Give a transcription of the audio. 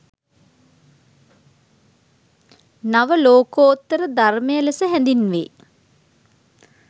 නවලෝකෝත්තර ධර්මය ලෙස හැඳින්වේ.